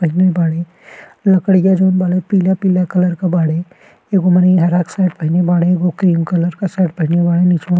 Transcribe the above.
पहिने बाड़े लकड़िया जौन बाड़े पीला-पीला कलर के बाड़े। एगो मनही हरा के शर्ट पहिने बाड़ेएगो क्रीम कलर के शर्ट पहिने बाड़े नीचवा --